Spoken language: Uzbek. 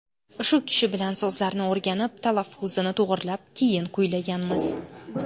Shu kishi bilan so‘zlarini o‘rganib, talaffuzini to‘g‘rilab, keyin kuylaganmiz.